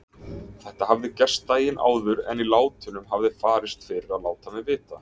Þetta hafði gerst daginn áður en í látunum hafði farist fyrir að láta mig vita.